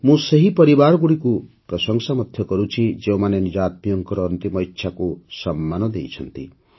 ମୁଁ ସେହି ପରିବାରଗୁଡ଼ିକୁ ମଧ୍ୟ ପ୍ରଶଂସା କରୁଛି ଯେଉଁମାନେ ନିଜ ଆତ୍ମୀୟଙ୍କର ଅନ୍ତିମ ଇଚ୍ଛାକୁ ସମ୍ମାନ ଦେଇଛନ୍ତି